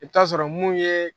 I bi taa sɔrɔ mun ye